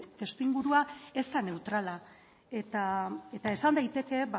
testuingurua ez da neutrala esan daiteke